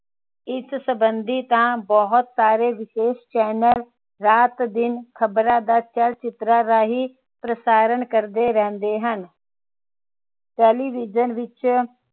ਇਸ ਸੰਬੰਧੀ ਤਾਂ ਬਹੁਤ ਸਾਰੇ ਵਿਸ਼ੇਸ਼ channel ਰਾਤ ਦਿਨ ਖ਼ਬਰਾ ਦਾ ਚੱਲ ਚਿਤਰਾਂ ਰਹੀ ਪ੍ਰਸਾਰਣ ਕਰਦੇ ਰਹਿੰਦੇ ਹਨ। television ਵਿੱਚ